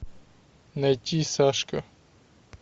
найти сашка